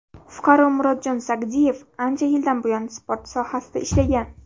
Fuqaro Murodjon Sagdiyev ancha yildan buyon sport sohasida ishlagan.